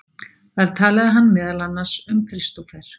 Þar talaði hann meðal annars um Kristófer.